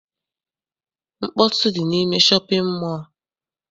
Mkpọtụ dị n'ime shọpịn mọọ a.